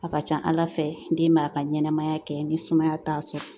A ka ca Ala fɛ den b'a ka ɲɛnɛmaya kɛ ni sumaya t'a sɔrɔ